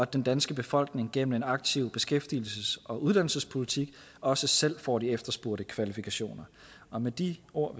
den danske befolkning gennem en aktiv beskæftigelses og uddannelsespolitik også selv får de efterspurgte kvalifikationer og med de ord